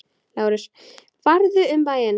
LÁRUS: Farðu um bæinn!